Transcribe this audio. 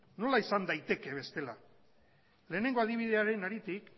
nola izan daiteke bestela lehenengo adibidearen haritik